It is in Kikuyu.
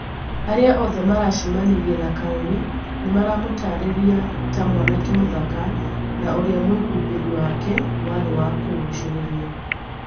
Aria othe maracemanirie na Karuri nimaramũtarĩria ta mwanake mũthaka, na ũria mwihumbirĩ wake warĩ wa kũgũcĩrĩria